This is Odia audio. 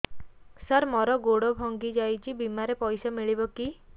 ସାର ମର ଗୋଡ ଭଙ୍ଗି ଯାଇ ଛି ବିମାରେ ପଇସା ମିଳିବ କି